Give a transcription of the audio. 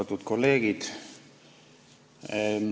Austatud kolleegid!